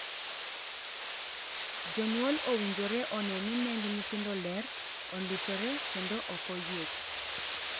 Jonyuol owinjore onee ni neng nyithindo ler, ondisore, kendo ok oiyiech.